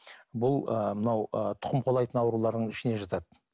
бұл ы мынау ы тұқым қуалайтын аурулардың ішіне жатады